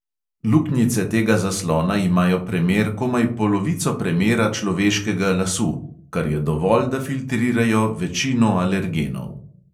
Luknjice tega zaslona imajo premer komaj polovico premera človeškega lasu, kar je dovolj, da filtrirajo večino alergenov.